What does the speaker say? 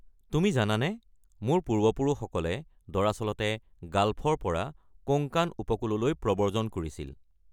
তুমি জানানে, মোৰ পূৰ্বপুৰুষসকলে দৰাচলতে গাল্ফৰ পৰা কোঙ্কাণ উপকূললৈ প্ৰব্ৰজন কৰিছিল।